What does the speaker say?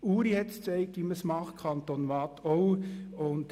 Die Kantone Uri und Waadt haben gezeigt, wie man es macht.